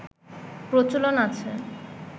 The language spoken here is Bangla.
প্রচলন আছে